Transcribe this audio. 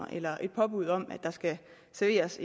eller et påbud om at der skal serveres